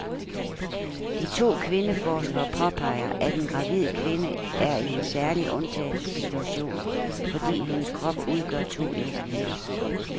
De to kvindeforskere påpeger, at en gravid kvinde er i en særlig undtagelsessituation, fordi hendes krop udgør to individer.